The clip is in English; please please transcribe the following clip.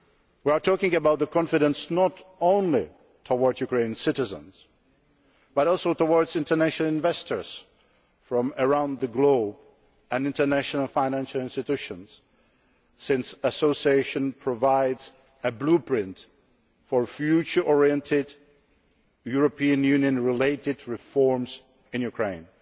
We are talking about confidence not only towards Ukrainian citizens but also towards international investors from around the globe and international financial institutions, since association provides a blueprint for future oriented, European Union related reforms in Ukraine.